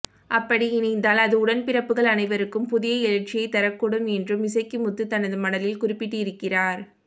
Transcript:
அப்படி இணைந்தால் அது உடன்பிறப்புகள் அனைவருக்கும் புதிய எழுச்சியைத் தரக்கூடும் என்றும் இசக்கி முத்து தனது மடலில் குறிப்பிட்டிருக்கிறார்